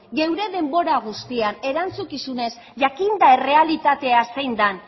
geure denbora guztian erantzukizunez jakinda errealitatea zein den